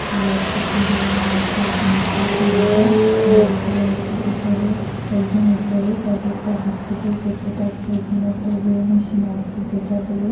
আরও একটা কি ধরনের মিষ্টি আছে নীচের সারিতে লাড্ডু আছে উপরে একদম উপরে কতকটা বিস্কুটের প্যাকেট আছে এখানে একটা ওয়ে মেশিন আছে যেটা দিয়ে--।